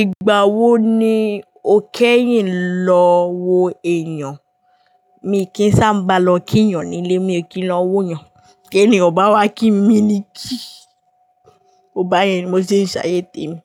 Ìgbà wo ni o kẹ́yìn lọ wo èèyàn, mi kì í sábà lọ kí ènìyàn nílé, mi ò kí ń lọ wo ènìyàn, bí ènìyàn o bá wá kí mi ni kí, báyẹn ni mo ṣe ń ṣayé tèmi.